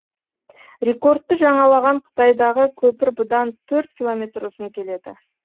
рекордты жаңалаған қытайдағы көпір бұдан төрт километр ұзын келеді